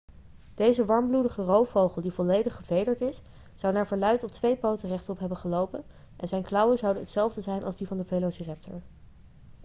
deze warmbloedige roofvogel die volledig gevederd is zou naar verluid op twee poten rechtop hebben gelopen en zijn klauwen zouden hetzelfde zijn als die van de velociraptor